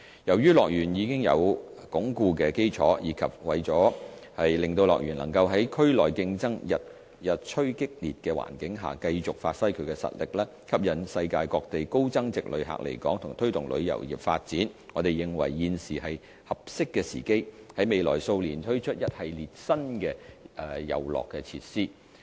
由於樂園已有穩固的基礎，以及為了令樂園能在區內競爭日趨激烈的環境下，繼續發揮其實力，吸引世界各地高增值旅客來港和推動旅遊業發展，我們認為現時是合適的時機，在未來數年推出一系列新的遊樂設施。